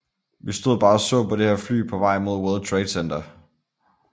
Vi stod bare og så på det her fly på vej mod World Trade Center